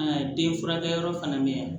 den furakɛ yɔrɔ fana mɛ yan